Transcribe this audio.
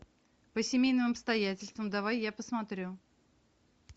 по семейным обстоятельствам давай я посмотрю